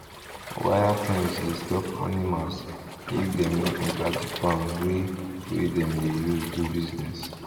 wire fence dey stop animals make dem no enter the farm wey wey dem dey use do business